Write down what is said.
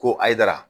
Ko ayi dara